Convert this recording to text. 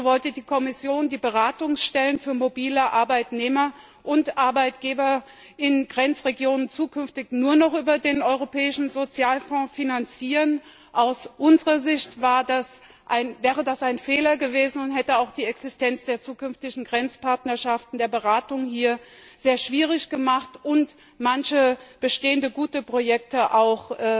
So wollte die Kommission die Beratungsstellen für mobile Arbeitnehmer und Arbeitgeber in Grenzregionen zukünftig nur noch über den Europäischen Sozialfonds finanzieren. Aus unserer Sicht wäre das ein Fehler gewesen und hätte auch die Existenz der zukünftigen Grenzpartnerschaften der Beratung hier sehr schwierig gemacht und manche bestehende gute Projekte auch